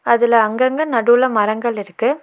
அதுல அங்கங்க நடுவுல மரங்கள் இருக்கு.